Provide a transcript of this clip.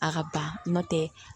A ka ba n'o tɛ